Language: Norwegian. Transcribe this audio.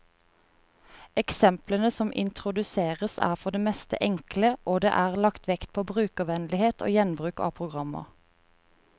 Eksemplene som introduseres, er for det meste enkle, og det er lagt vekt på brukervennlighet og gjenbruk av programmer.